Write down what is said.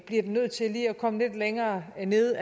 det nødt til at komme lidt længere ned